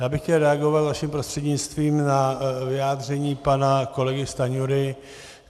Já bych chtěl reagovat vaším prostřednictvím na vyjádření pana kolegy Stanjury.